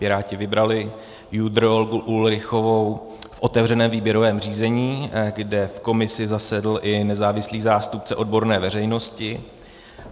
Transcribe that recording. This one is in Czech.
Piráti vybrali JUDr. Olgu Ulrichovou v otevřeném výběrovém řízení, kde v komisi zasedl i nezávislý zástupce odborné veřejnosti.